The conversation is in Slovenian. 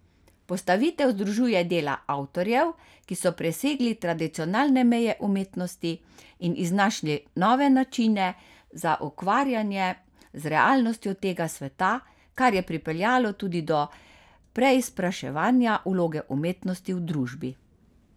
Postavitev združuje dela avtorjev, ki so presegli tradicionalne meje umetnosti in iznašli nove načine za ukvarjanje z realnostjo tega sveta, kar je pripeljalo tudi do preizpraševanja vloge umetnosti v družbi.